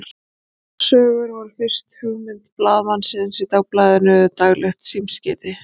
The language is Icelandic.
örsögur voru fyrst hugmynd blaðamanninsins í dagblaðinu daglegt símskeiti